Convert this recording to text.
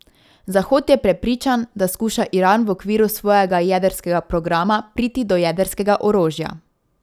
Zahod je prepričan, da skuša Iran v okviru svojega jedrskega programa priti do jedrskega orožja.